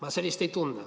Ma sellist ei tunne.